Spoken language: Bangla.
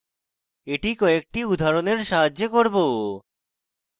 এটি কয়েকটি উদাহরণের সাহায্যে করব